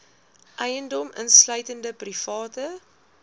eiendom insluitende private